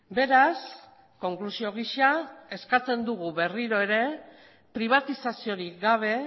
beraz konklusio gisa eskatzen dugu berriro ere pribatizaziorik gabe